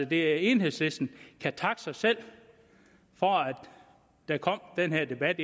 det enhedslisten kan takke sig selv for at der kom den her debat